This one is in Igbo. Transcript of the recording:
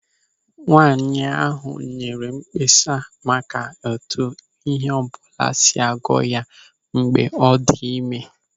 Nwaanyị ahụ nyere mkpesa maka etu ịhe ọbụla si agụ ya mgbe ọ dị ịme.